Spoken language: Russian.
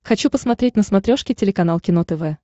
хочу посмотреть на смотрешке телеканал кино тв